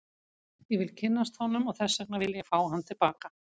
Ég vil kynnast honum og þess vegna vil ég fá hann til baka.